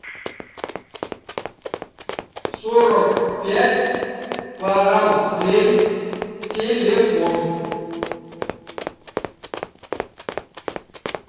сорок пять параллель телефон